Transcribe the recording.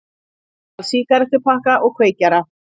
Stal sígarettupakka og kveikjara